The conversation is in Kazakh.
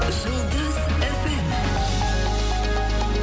жұлдыз эф эм